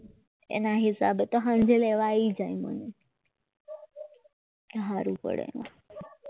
એના હિસાબે તો સાંજે લેવા આવી જાય મને સારું પડે